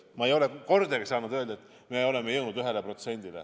Ma ei ole kordagi saanud öelda, et me oleme jõudnud 1%-ni.